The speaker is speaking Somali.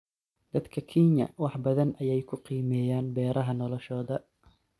Dadka Kenya wax badan ayay ku qiimeeyaan beeraha noloshooda.